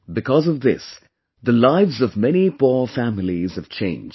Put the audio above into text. Because of this, the lives of many poor families have changed